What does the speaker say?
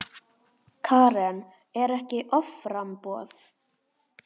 Karen: Er ekki offramboð?